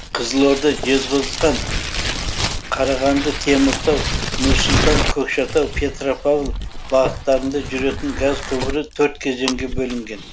қызылорда жезқазған қарағанды теміртау нұр сұлтан көкшетау петропавл бағыттарында жүретін газ құбыры төрт кезеңге бөлінген